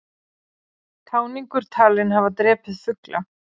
Táningur talinn hafa drepið fugla